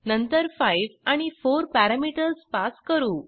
नंतर 5 आणि 4 parameters pass करू